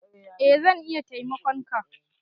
Eh zan iya taimakon ka